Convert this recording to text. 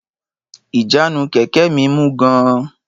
Ìjánu kẹ̀kẹ́ mi mú gan-an